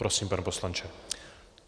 Prosím, pane poslanče.